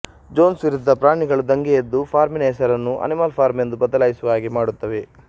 Jones ವಿರುದ್ಧ ಪ್ರಾಣಿಗಳು ದಂಗೆ ಎದ್ದು ಫಾರ್ಮಿನ ಹೆಸರನ್ನು ಅನಿಮಲ್ ಫಾರ್ಮ್ ಎಂದು ಬದಲಾಯಿಸುವ ಹಾಗೆ ಮಾಡುತ್ತವೆ